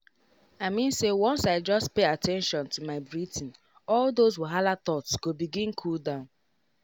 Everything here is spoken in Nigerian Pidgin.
i mean say once i just pay at ten tion to my breathing all those wahala thoughts go begin cool down.